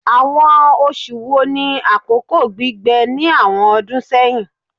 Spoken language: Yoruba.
Awọn oṣu wo ni akoko gbigbẹ ni awọn ọdun sẹhin?